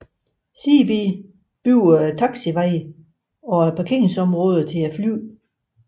Seebee byggede taxiveje og parkeringsområder til flyene